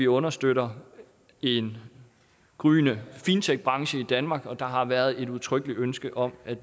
understøtter en gryende fintechbranche i danmark der har været et udtrykkeligt ønske om at